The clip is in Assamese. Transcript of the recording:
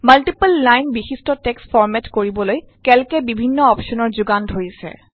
মাল্টিপল লাইন বিশিষ্ট টেক্সট ফৰমেট কৰিবলৈ কেল্ক এ বিভিন্ন অপশ্যনৰ যোগান ধৰিছে